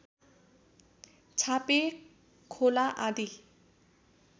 छापे खोला आदि